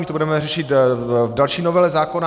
My to budeme řešit v další novele zákona.